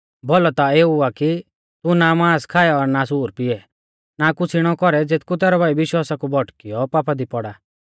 भौलौ ता एऊ आ कि तू ना मांस खाऐ और ना सूर पीऐ ना कुछ़ इणौ कौरै ज़ेथकु तैरौ भाई विश्वासा कु भौटकीऔ पापा दी पौड़ा